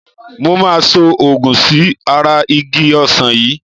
Mo máa so òògun sí ara igi Ọsán yìí.